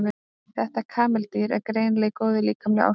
þetta kameldýr er greinilega í góðu líkamlegu ástandi